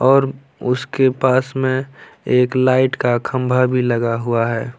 और उसके साइड में लाइट का खंभा भी लगा हुआ है ।